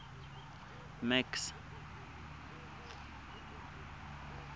max